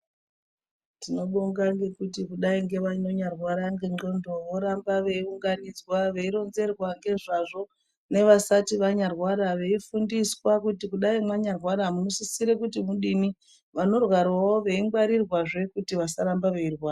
Tinobonga ngekuti kudai ngevanonya rwara nge ndxondo voramba vei unganidzwa vei ronzerwa ngezvavo ne vasati vanya rwara vei fundiswa kuti kudai manya rwara muno sisire kuti mudini vano rwarawo vei ngwarirwa zvee kuti vasaramba vei rwara.